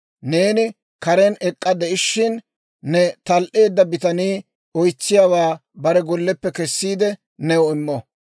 Neeni karen ek'k'a de'ishin, ne tal"eedda bitanii oytsiyaawaa bare golleppe kessiide new immo.